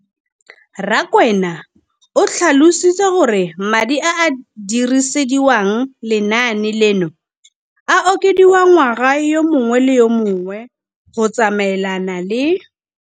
Rakwena o tlhalositse gore madi a a dirisediwang lenaane leno a okediwa ngwaga yo mongwe le yo mongwe go tsamaelana le